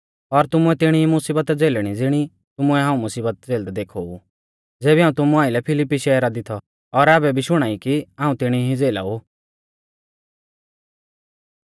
और तुमुऐ तिणी ई मुसीबत झ़ेलनी ज़िणी तुमुऐ हाऊं मुसीबत झ़ेलदै देखौ ऊ ज़ेबी हाऊं तुमु आइलै फिलिप्पी शैहरा दी थौ और आबै भी शुणाई कि हाऊं तिणी ई झ़ेलाऊ